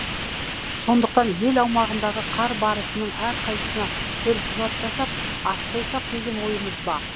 сондықтан ел аумағындағы қар барысының әрқайсына төлқұжат жасап ат қойсақ деген ойымыз бар